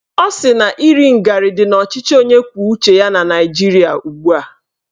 Ọ sị na iri ngarị dị n'ọchịchị onye kwuo uche ya na Naijiria ugbua